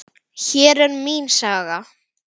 Hér er mín saga.